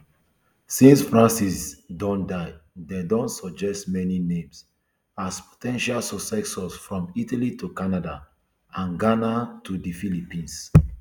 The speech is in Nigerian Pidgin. since francis don die dem don suggest many names as po ten tial successors from italy to canada and ghana to di philippines